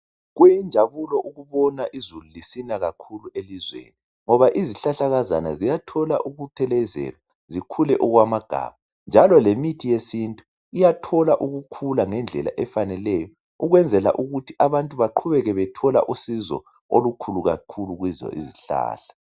Kuyinjabulo ukubona izulu lisina kakhulu elizweni ngoba izihlahlakazana ziyathola ukuthelezelwa zikhule okwamagama njalo lemithi yesintu iyathola ukukhula ngendlela efaneleyo ukwenzela ukuthi abantu baqhubeke bethola usizo olukhulu kakhulu kizo izihlahla